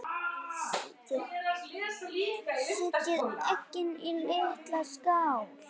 Setjið eggin í litla skál.